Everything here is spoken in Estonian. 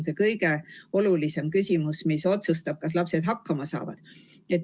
See otsustab, kas lapsed saavad hakkama.